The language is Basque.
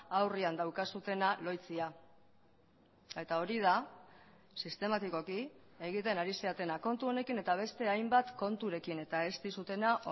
aurrean daukazuena lohitzea eta hori da sistematikoki egiten ari zaretena kontu honekin eta beste hainbat konturekin eta ez dizutena